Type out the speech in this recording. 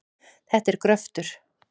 Þetta er gröftur.